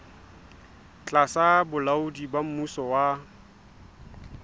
tlasa bolaodi ba mmuso wa